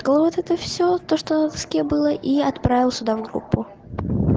вот это все то что с кем было и отправил сюда в группу